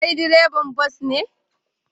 Kai direban bas ne?